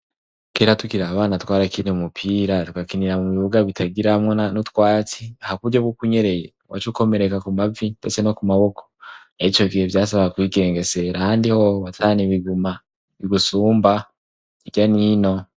kera tukira abana twarakina umupira tukakinira mu bibuga bitagira hamwena n'utwara atsi ha kuryo bwo kunyereye wacukomereka ku mavi ndese no ku maboko ecyogihe byasaba kwigengesera handi ho watahana ibiguma bigusumba ibya nino